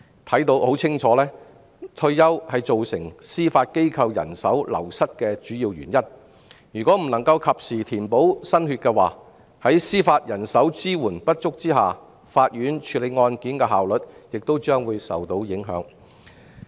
顯而易見，退休是造成司法機構人手流失的主要原因，如果未能及時填補新血，在司法人手支援不足下，法院處理案件的效率亦將會受影響。